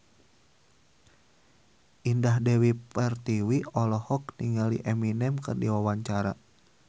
Indah Dewi Pertiwi olohok ningali Eminem keur diwawancara